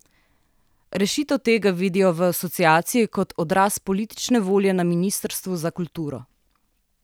Rešitev tega vidijo v Asociaciji kot odraz politične volje na ministrstvu za kulturo.